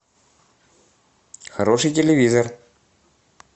хороший телевизор